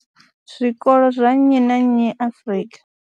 Zwikolo zwa nnyi na nnyi Afrika.